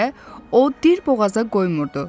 deyə o dirboğaza qoymurdu.